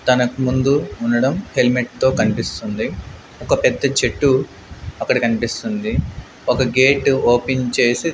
తనక్ ముందు ఉండడం హెల్మెట్ తో కన్పిస్తుంది ఒక పెద్ద చెట్టు అక్కడ కన్పిస్తుంది ఒక గేటు ఓపెన్ చేసి--